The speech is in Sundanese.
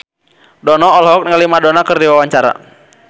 Dono olohok ningali Madonna keur diwawancara